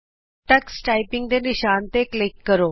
Tux typing ਦੇ ਨਿਸ਼ਾਨ ਤੇ ਕਲਿਕ ਕਰੋ